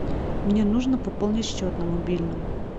мне нужно пополнить счет на мобильном